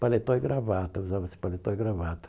paletó e gravata, usava-se paletó e gravata.